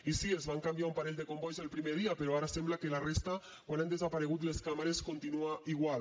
i sí es van canviar un parell de combois el primer dia però ara sembla que la resta quan han desaparegut les càmeres continua igual